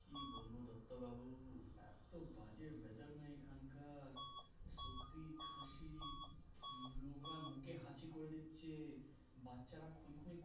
কি বলবো দত্ত বাবু এতো বাজে wither নাএখানকার সত্যি খাসি লোকরা মুখে হাচি করে দিচ্ছে বাচ্চারা খুনো খুনি করছে শুধু